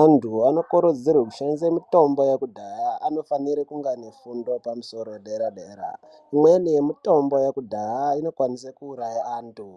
anyu anokurudzirwe kushandise mitombo yekudhaya anofanire kunga ane fundo yepamusoro dera dera imweni yemitombo inokwanise kuuraya antu.